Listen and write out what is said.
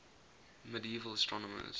medieval astronomers